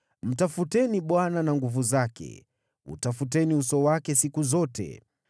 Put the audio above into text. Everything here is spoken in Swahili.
Mtafuteni Bwana na nguvu zake; utafuteni uso wake siku zote.